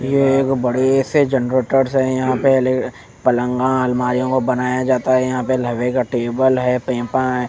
ये एक बड़े से जेनेटर्स है यहाँ पहले पलंगा अलमारियों को बनाया जाता है यहाँ पर लोहे का टेबल है पीपा है--